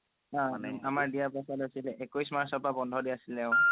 আমাৰ দিয়াৰ পাছত আছিলে একৈশ মাৰ্চৰ পৰা বন্ধ দিয়া আছিলে অহ